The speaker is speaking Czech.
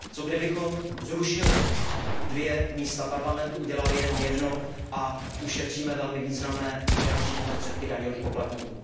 Co kdybychom zrušili dvě pracovní místa Parlamentu, udělali jenom jedno a ušetříme velmi významné finanční prostředky daňových poplatníků.